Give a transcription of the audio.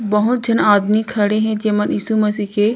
बहुत झन आदमी खड़े हे जेमन यीशु मसीह के--